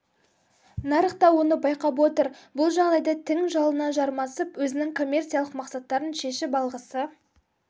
нарық та оны байқап отыр бұл жағдайда тің жалына жармасып өзінің коммерциялық мақсаттарын шешіп алғысы